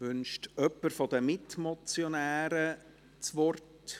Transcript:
Wünscht jemand der Mitmotionäre das Wort?